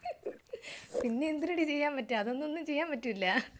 പിന്നെ എന്തരടി ചെയ്യാൻ പറ്റാ? അതൊന്നും ഒന്നും ചെയ്യാൻ പറ്റില്ല.